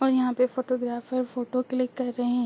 और यहाँ पे फोटोग्राफर फोटो क्लिक कर रहे हैं।